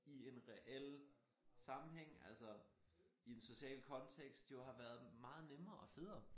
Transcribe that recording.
I en reel sammenhæng altså i en social kontekts jo har været meget nemmere og federe